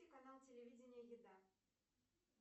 канал телевидения еда